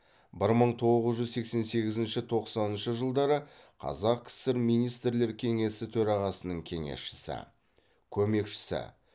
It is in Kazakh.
бір мың тоғыз жүз сексен сегізінші тоқсаныншы жылдары қазақ кср министрлер кеңесі төрағасының кеңесшісі көмекшісі